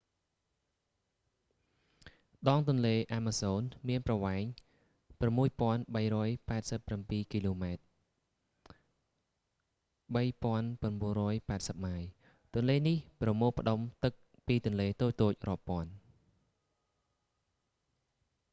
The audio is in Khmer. ដងទន្លេអាម៉ាហ្សូនមានប្រវែង 6,387 គីឡូម៉ែត្រ 3,980 ម៉ាយ ទន្លេនេះប្រមូលផ្ដុំទឹកពីទន្លេតូចៗរាប់ពាន់